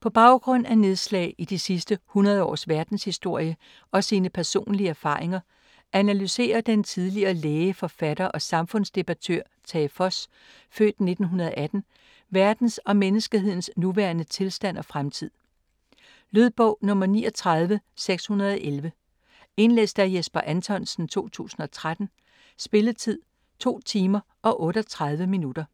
På baggrund af nedslag i de sidste 100 års verdenshistorie og sine personlige erfaringer, analyserer den tidligere læge, forfatter og samfundsdebattør Tage Voss(f. 1918) verdens og menneskehedens nuværende tilstand og fremtid. Lydbog 39611 Indlæst af Jesper Anthonsen, 2013. Spilletid: 2 timer, 38 minutter.